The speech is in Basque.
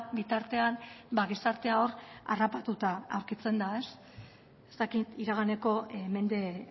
bitartean gizartea hor harrapatuta aurkitzen da ez dakit iraganeko mende